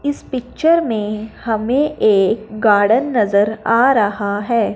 इस पिक्चर में हमें एक गार्डन नज़र आ रहा है।